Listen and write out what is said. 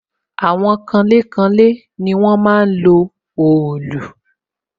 Àwọn kanlé kanlé ni wọ́n máa ń lo òòlù